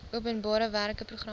openbare werke programme